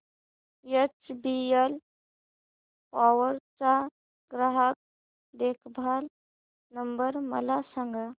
HBL power चा ग्राहक देखभाल नंबर मला सांगा